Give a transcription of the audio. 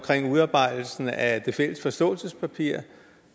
udarbejdelsen af det fælles forståelsespapir